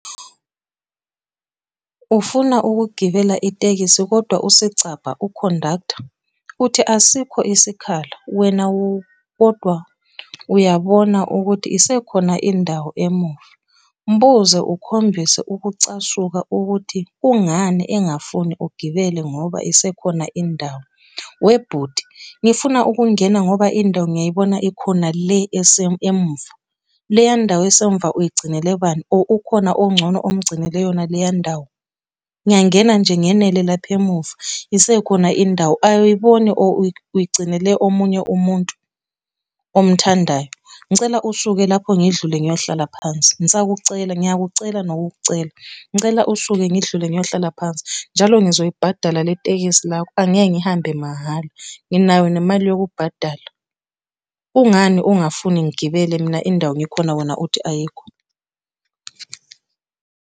Ufuna ukugibela itekisi kodwa usicabha, ukhondaktha, uthi asikho isikhala. Wena kodwa uyabona ukuthi isekhona indawo emuva. Mbuze, ukhombise ukucasuka, ukuthi kungani engafuni ugibele ngoba isekhona indawo. Webhuti, ngifuna ukungena ngoba indawo ngiyayibona ikhona le emuva. Leya ndawo esemuva uyigcinele banior ukhona ongcono omgcinele yona leya ndawo? Ngiyangena nje ngenele lapha emuva, isekhona indawo. Awuyiboni or uyigcinele omunye umuntu omuthandayo? Ngicela usuke lapho ngidlule ngiyohlala phansi, ngisakucela, ngiyakucela nokukucela. Ngicela usuke ngidlule ngiyohlala phansi. Njalo ngizoyibhadala le tekisi lakho angeke ngihambe mahhala, nginayo nemali yokukubhadala. Kungani ungafuni ngigibele mina indawo ikhona wena uthi ayikho?